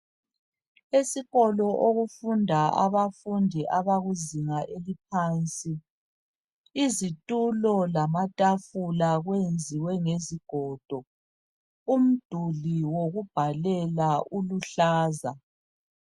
Esikolo okufunda abafundi abakuzinga eliphansi. Izitulo lamatafula kwenziwe ngezigodo. Umduli wokubhalela uluhlaza.